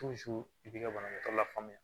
i bi ka banabaatɔ lafaamuya